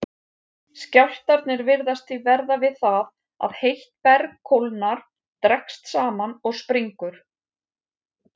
Skjálftarnir virðast því verða við það að heitt berg kólnar, dregst saman og springur.